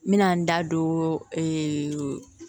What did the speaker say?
N bɛna n da don